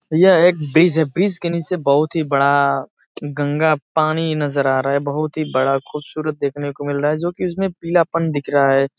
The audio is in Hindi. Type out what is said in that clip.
यह एक ब्रिज है। ब्रिज के नीचे बहुत ही बड़ा गंगा पानी नजर आ रहा है। बहुत ही बड़ा खूबसूरत देखने को मिल रहा है जोकि इसमें भी पीलापन दिख रहा है।